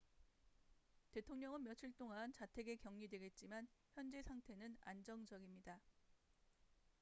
대통령은 며칠 동안 자택에 격리되겠지만 현재 상태는 안정적입니다